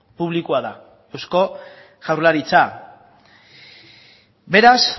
publikoa da eusko jaurlaritza beraz